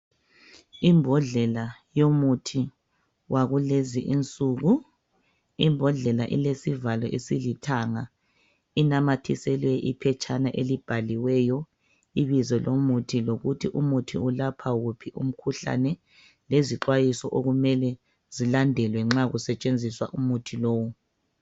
Imbodlela yomuthi wakulezi insuku imbodlela ilesivalo esilithanga inamathiselwe iphetshana elibhaliweyo, ibizo lomuthi lokuthi umuthi ulapha uphi umkhuhlane lezixwayiso okumele zilandelwe uma kusetshenziswa umuthi lowu.